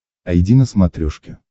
айди на смотрешке